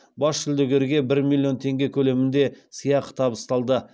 бас жүлдегерге бір миллион теңге көлемінде сыйақы табысталды